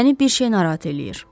Məni bir şey narahat eləyir.